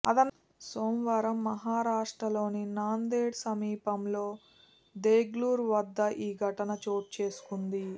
సోమవారం మహారాష్ట్రలోని నాందేడ్ సమీపంలో దెగ్లూర్ వద్ద ఈ ఘటన చోటు చేసుకుంది